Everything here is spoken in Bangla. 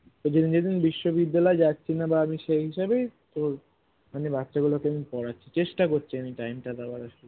যেদিন যেদিন বিশ্ববিদ্যালয় যাচ্ছি না বা আমি সেই হিসাবেই তোর আমি বাচ্ছা গুলোকে আমি পড়াচ্ছি চেষ্টা করছি আমি time টা দেওয়ার আর কি